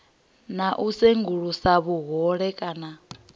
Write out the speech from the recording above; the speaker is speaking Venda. na u sengulusa vhuhole kana